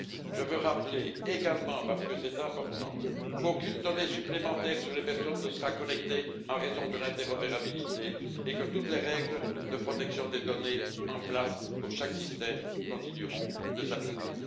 Je veux rappeler également, parce que c'est important, qu'aucune donnée supplémentaire sur les personnes ne sera collectée en raison de l'interopérabilité et que toutes les règles de protection des données en place pour chaque système continueront de s'appliquer.